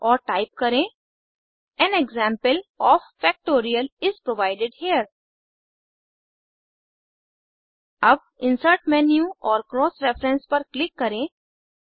और टाइप करें an example of factorial is provided here अब इंसर्ट मेन्यू और क्रॉस रेफरेंस पर क्लिक करें